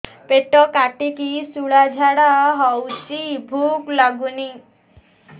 ପେଟ କାଟିକି ଶୂଳା ଝାଡ଼ା ହଉଚି ଭୁକ ଲାଗୁନି